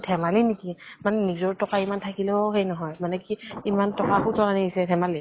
ধেমালি নেকি মানে কি নিজৰ টকা ইমান থাকিলেও সেই নহয় । মানে কি ইমান টকা সুত ত আনিছে, ধেমালি ?